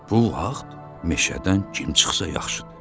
Bu vaxt meşədən kim çıxsa yaxşıdır?